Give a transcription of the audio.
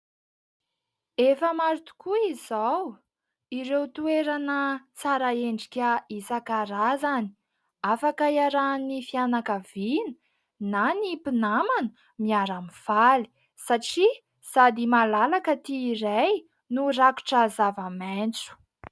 Efa maro tokoa izao ireo toerana tsara endrika isan-karazany. Afaka iarahan'ny fianakaviana na ny mpinamana miara-mifaly, satria sady malalaka ity iray no rakotra zava-maitso.